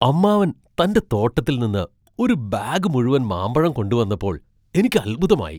അമ്മാവൻ തന്റെ തോട്ടത്തിൽ നിന്ന് ഒരു ബാഗ് മുഴുവൻ മാമ്പഴം കൊണ്ടുവന്നപ്പോൾ എനിക്ക് അത്ഭുതമായി .